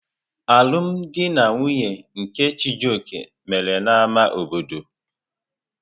Alụm di na nwunye nke Chijioke mere n'ámá obodo.